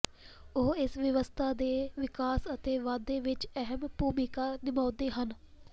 ਉਹ ਇਸ ਵਿਵਸਥਾ ਦੇ ਵਿਕਾਸ ਅਤੇ ਵਾਧੇ ਵਿਚ ਅਹਿਮ ਭੂਮਿਕਾ ਨਿਭਾਉਂਦੇ ਹਨ